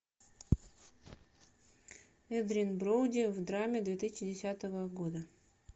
эдриан броуди в драме две тысячи десятого года